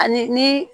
Ani ni